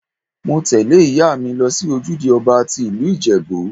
Mo tẹ́lẹ̀ ìyá mi lọ sí ojúde ọba tí ìlú Ìjẹ̀bú.